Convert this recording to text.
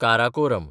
Karakoram